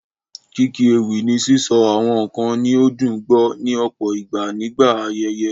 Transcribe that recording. Kíkí ewì ni sísọ àwọn nǹkan ní ó dùn gbọ́, ní ọ̀pọ̀ ìgbà nígbà ayẹyẹ.